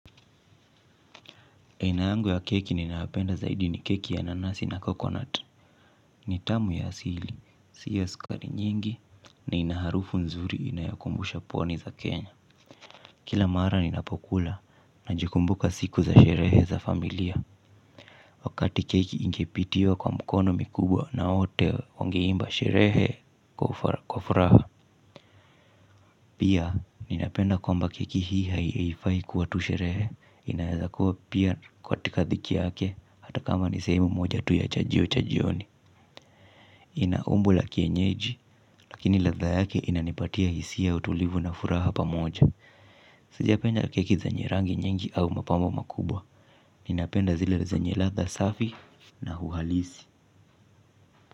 Aina yangu ya keki ninayopenda zaidi ni keki ya nanasi na coconut, ni tamu ya asili, si ya skari nyingi, na ina harufu nzuri inayokumbusha pwani za Kenya. Kila mara ninapokula, najikumbuka siku za sherehe za familia, wakati keki ingepitiwa kwa mkono mikubwa na wote wangeimba sherehe kwa fraha. Pia, ninapenda kwamba keki hii haieifai kuwa tu sherehe, inaezakua pia katika dhiki yake, hata kama ni sehemu moja tu ya chajio cha jioni. Ina umbo la kienyeji, lakini ladha yake inanipatia hisia ya utulivu na furaha pamoja. Sijapenda keki zenye rangi nyingi au mapambo makubwa, ninapenda zile zenye ladha safi na uhalisi.